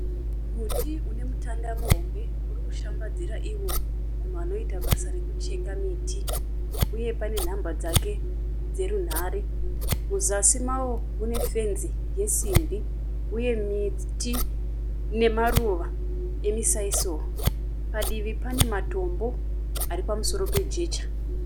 Muti unemutanda muhombe. Urikushambadzira iwo munhu anoita basa rekucheka miti, uye pane nhamba dzake dzerunhare. Muzasi mawo mune fenzi yesimbi uye miti nemaruva yemisaisoro. Padivi pane matombo ari pamusoro pejecha.